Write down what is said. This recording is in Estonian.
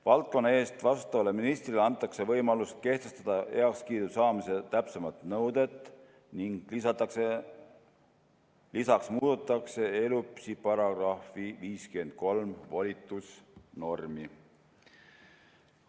Valdkonna eest vastutavale ministrile antakse võimalus kehtestada heakskiidu saamise täpsemad nõuded ning lisaks muudetakse ELÜPS-i § 53 volitusnormi.